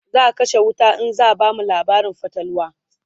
zaa kashe wuta in zaa bamu labarin fatalwa